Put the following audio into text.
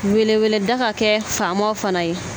Weleweleda ka kɛ faamaw fana ye